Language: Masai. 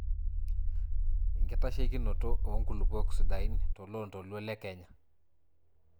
inkitaishekinoto oo nkulupuok sidain toloontoluo le Kenya